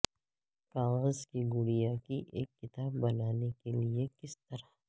کاغذ کی گڑیا کی ایک کتاب بنانے کے لئے کس طرح